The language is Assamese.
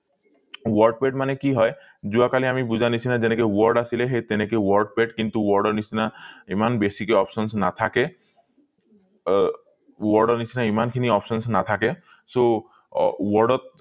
wordpad মানে কি হয় যোৱা কালি আমি বুজা নিচিনা যেনেকে word আছিলে সেই তেনেকে wordpad কিন্তু word ৰ নিচিনা এইমান বেছিকে options নাথাকে আহ word নিচিনা ইমান খিনি options নাথাকে so word ত